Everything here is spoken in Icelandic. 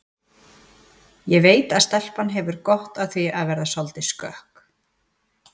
Ég veit að stelpan hefur gott af því að verða soldið skökk